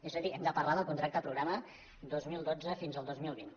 és a dir hem de parlar del contracte programa dos mil dotze fins al dos mil vint